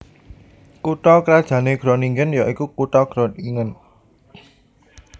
Kutha krajanné Groningen ya iku kutha Groningen